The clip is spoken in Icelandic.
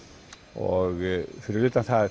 og fyrir utan að